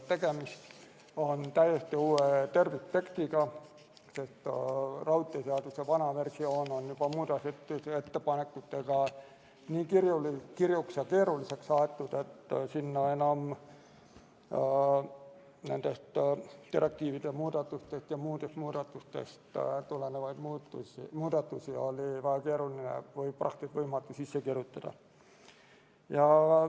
Tegemist on täiesti uue terviktekstiga, sest raudteeseaduse vana versioon on muudatusettepanekutega juba nii kirjuks ja keeruliseks aetud, et sinna nendest direktiivide muudatustest ja muudest muudatustest tulenevaid muudatusi oli väga keeruline või praktiliselt võimatu sisse kirjutada.